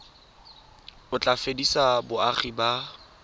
o tla fedisa boagi ba